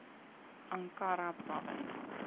ankara province